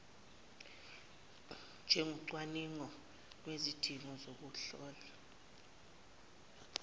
njengocwaningo lwezidingo zokuzihlola